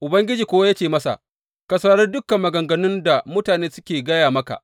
Ubangiji kuwa ya ce masa, Ka saurari dukan maganganun da mutanen suke gaya maka.